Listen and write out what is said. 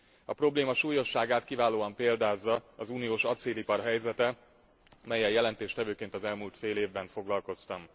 A probléma súlyosságát kiválóan példázza az uniós acélipar helyzete, mellyel jelentéstevőként az elmúlt fél évben foglalkoztam.